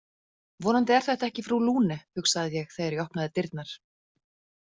Vonandi er þetta ekki frú Lune, hugsaði ég þegar ég opnaði dyrnar.